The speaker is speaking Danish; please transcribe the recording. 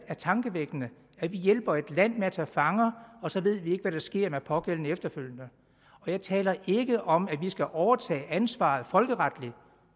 er tankevækkende at vi hjælper et land med at tage fanger og så ved vi ikke hvad der sker med de pågældende efterfølgende og jeg taler ikke om at vi skal overtage ansvaret folkeretligt